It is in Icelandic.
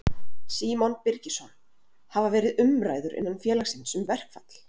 Símon Birgisson: Hafa verið umræður innan félagsins um verkfall?